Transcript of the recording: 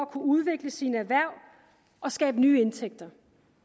kunne udvikle sine erhverv og skabe nye indtægter